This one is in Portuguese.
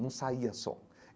Não saía som.